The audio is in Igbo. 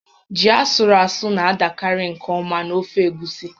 Ji asụrụ asụ na-adakarị nke ọma na ofe egusi